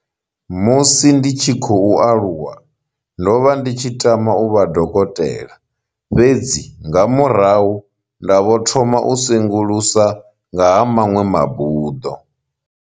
Musi ndi tshi khou aluwa, ndo vha ndi tshi tama uvha dokotela, fhedzi nga murahu nda vho thoma u sengulusa nga ha maṅwe mabuḓo.